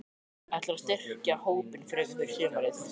Ætlarðu að styrkja hópinn frekar fyrir sumarið?